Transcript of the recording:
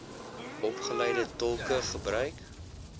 opgeleide tolke gebruik